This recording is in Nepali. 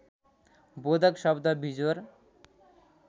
बोधक शब्द बिजोर